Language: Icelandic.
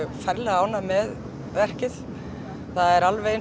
ferlega ánægð með verkið alveg eins og